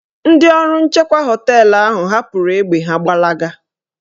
Ndị ọrụ nchekwa họteelụ ahụ hapụrụ egbe ha gbalaga